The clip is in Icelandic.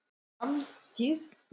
Hrafndís, hækkaðu í hátalaranum.